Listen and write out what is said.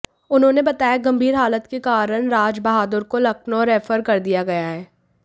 उन्होंने बताया गंभीर हालत के कारण राजबहादुर को लखनऊ रेफर कर दिया गया है